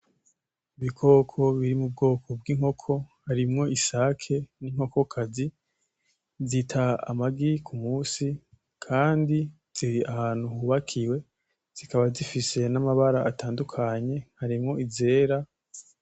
Ibikoko biri mubwoko bwinkoko harimwo isake ninkokokazi zita amagi kumusi kandi ziri ahantu hubakiwe zikaba zifise namabara atandukanye harimwo izera